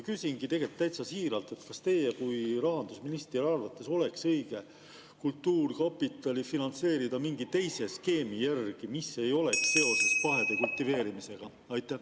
Küsingi täitsa siiralt: kas teie kui rahandusministri arvates oleks õige kultuurkapitali finantseerida mingi teise skeemi järgi, mis ei oleks seotud pahede kultiveerimisega?